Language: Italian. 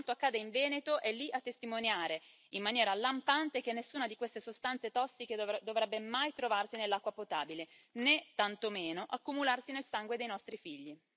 E quanto accade in Veneto è lì a testimoniare, in maniera lampante, che nessuna di queste sostanze tossiche dovrebbe mai trovarsi nell'acqua potabile, né tantomeno accumularsi nel sangue dei nostri figli.